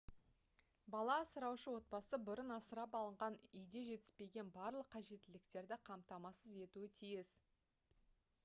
бала асыраушы отбасы бұрын асырап алынған үйде жетіспеген барлық қажеттіліктерді қамтамасыз етуі тиіс